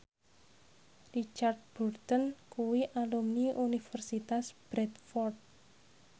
Richard Burton kuwi alumni Universitas Bradford